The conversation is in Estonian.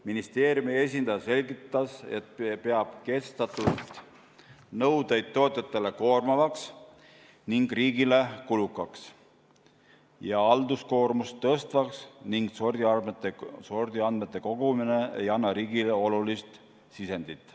Ministeeriumi esindaja selgitas, et peab kehtestatud nõudeid tootjatele koormavaks ning riigile kulukaks ja halduskoormust tõstvaks ning et sordiandmete kogumine ei anna riigile olulist sisendit.